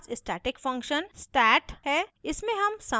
यहाँ हमारे पास static function sat है